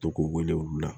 To k'u wele olu la